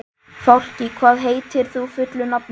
Fálki, hvað heitir þú fullu nafni?